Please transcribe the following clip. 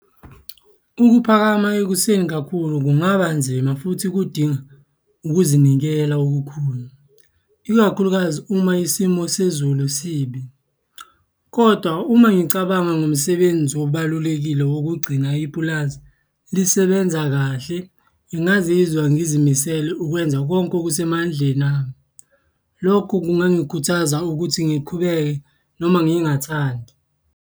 Ukuphakama ekuseni kakhulu kungaba nzima futhi kudinga ukuzinikela okukhulu, ikakhulukazi uma isimo sezulu sibi, koda uma ngicabanga ngomsebenzi obalulekile wokugcina ipulazi lisebenza kahle, ngingazizwa ngizimisele ukwenza konke okusemandleni ami. Lokho kungangikhubaza ukuthi ngiqhubeke noma ngingathandi.